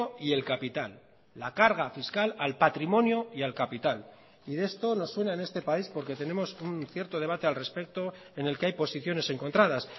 y el capital la carga fiscal al patrimonio y al capital y de esto nos suena en este país porque tenemos un cierto debate al respecto en el que hay posiciones encontradas